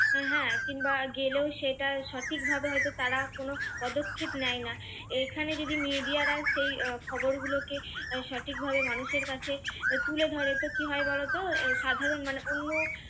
হ্যাঁ কিংবা গেলেও সেটা সঠিক ভাবে হয়তো তারা কোনো পদক্ষেপ নেয় না এখানে যদি media রা সেই খবর গুলোকে সঠিকভাবে মানুষের কাছে তুলে ধরে তো কি হয় বলতো? আহ সাধারণ মানে অন্য